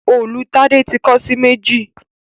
Òòlù Tade tí kán sí méjì